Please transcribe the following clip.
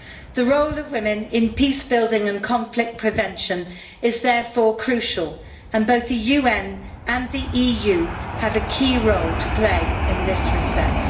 The role of women in peace building and conflict prevention is therefore crucial and both the UN and the EU have a key role to play in this respect.